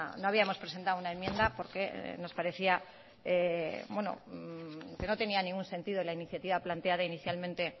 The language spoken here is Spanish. no habíamos presentado una enmienda porque nos parecía que no tenía ningún sentido la iniciativa planteada inicialmente